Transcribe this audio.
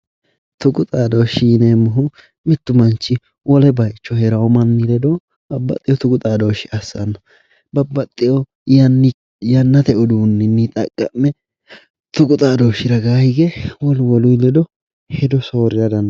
Tuqi xaadoshi yineemmohu mitu manchi wole bayicho heerano manni ledo babbaxeyo tuqu xaadoshe assano ,babbaxeyo yannite yannate uduuninni tuqu xaadoshe wolu wolu ledo hedo soorira